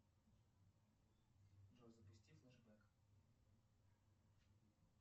джой запусти флешбэк